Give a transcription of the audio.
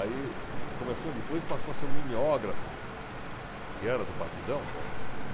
Aí começou depois passou a ser um mimeógrafo, que era do Partidão.